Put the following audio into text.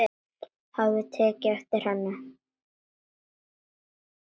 Hafði tekið eftir henni.